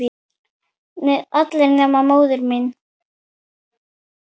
Allir nema móðir mín.